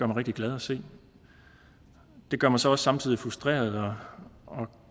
rigtig glad at se det gør mig så også samtidig frustreret og